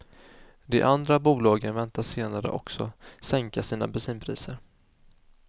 De andra bolagen väntas senare också sänka sina bensinpriser.